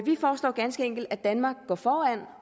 vi foreslår ganske enkelt at danmark går foran